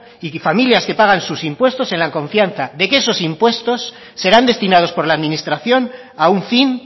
y que familias que pagan sus impuestos en la confianza de que esos impuestos serán destinados por la administración a un fin